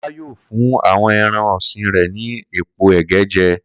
Kó̩lá yóò fún àwo̩n e̩ran ò̩sìn rè̩ ní èpo è̩gé̩ je̩